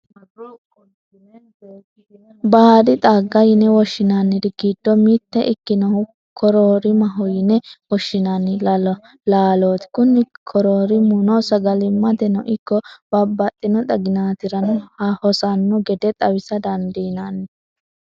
baadi xagga yine woshshinanniri giddo mitte ikkinohu, koroorimaho yine woshshinanni laalooti. kuni koroorimino sagali'mateno ikko babbaxino xaginaatirano hosanno gede xawisa dandiinanni.